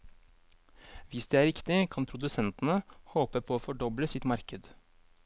Hvis det er riktig, kan produsentene håpe på å fordoble sitt marked.